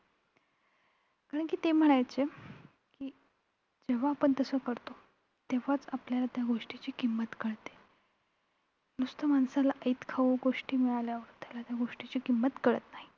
कारणं की ते म्हणायचे की जेव्हा आपण तस करतो. तेव्हा आपल्याला त्या गोष्टीची किंमत कळते. नुसतं माणसाला ऐतखाऊ गोष्टी मिळाल्यावर त्याला त्या गोष्टींची किंमत कळत नाही.